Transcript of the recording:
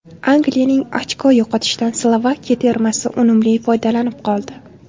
Angliyaning ochko yo‘qotishidan Slovakiya termasi unumli foydalanib qoldi.